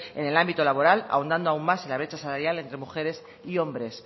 en el ámbito laboral ahondando aún más en la brecha salarial entre mujeres y hombres